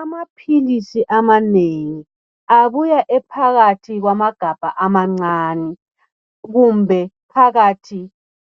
Amaphilisi amanengi abuya ephakathi kwamagabha amancane kumbe phakathi